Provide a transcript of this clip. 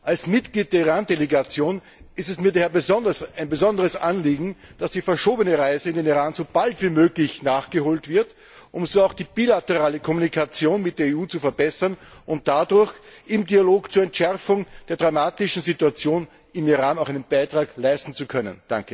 Als Mitglied der Iran Delegation ist es mir daher ein besonderes Anliegen, dass die verschobene Reise in den Iran so bald wie möglich nachgeholt wird, um so auch die bilaterale Kommunikation mit der EU zu verbessern und dadurch im Dialog zur Entschärfung der dramatischen Situation im Iran auch einen Beitrag leisten zu können.